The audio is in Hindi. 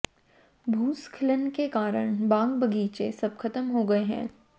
भूस्खलन के कारण बाग बगीचे सब खत्म हो गए हैं